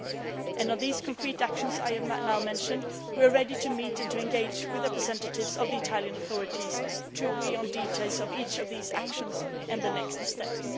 With these concrete actions I have now mentioned, we are ready to meet and to engage with representatives of the Italian authorities to agree on details of each of these actions and the next steps.